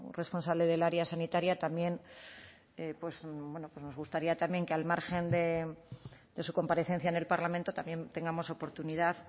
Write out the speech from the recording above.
responsable del área sanitaria también pues bueno pues nos gustaría también que al margen de su comparecencia en el parlamento también tengamos oportunidad